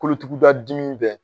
Kolotuguda dimi bɛɛ